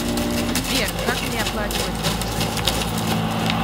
сбер как мне оплачивать бонусами спасибо